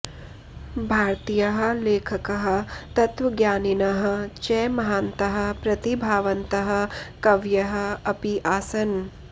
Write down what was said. भारतीयाः लेखकाः तत्त्वज्ञानिनः च महान्तः प्रतिभावन्तः कवयः अपि आसन्